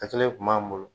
A kelen kun b'an bolo